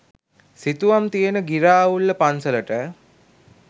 සිතුවම් තියෙන ගිරාඋල්ල පන්සලට.